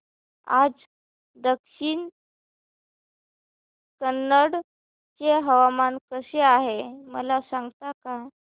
आज दक्षिण कन्नड चे हवामान कसे आहे मला सांगता का